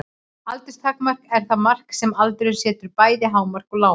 Aldurstakmark er það mark sem aldurinn setur, bæði hámark og lágmark.